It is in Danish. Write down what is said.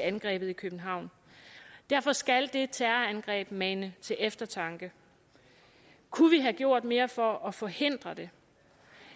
angrebet i københavn derfor skal det terrorangreb mane til eftertanke kunne vi have gjort mere for at forhindre det